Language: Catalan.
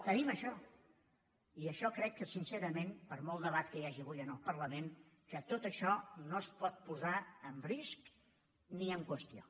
tenim això i això crec que sincerament per molt debat que hi hagi avui en el parlament que tot això no es pot posar en risc ni en qüestió